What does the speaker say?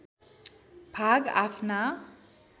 भाग आफ्ना